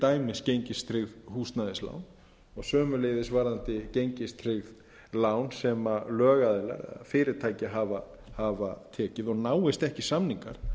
dæmis gengistryggð húsnæðislán og sömuleiðis varðandi gengistryggð lán sem lögaðilar fyrirtæki hafa tekið og náist ekki samningar